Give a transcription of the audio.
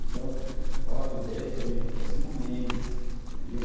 Então, outro dez vai vir no próximo mês, entendeu?